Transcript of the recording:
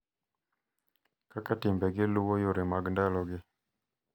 Kaka timbegi luwo yore mag ndalogi,